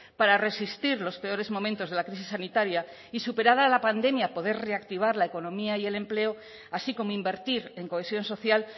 para resistir los peores momentos de la crisis sanitaria y superada la pandemia poder reactivar la economía y el empleo así como invertir en cohesión social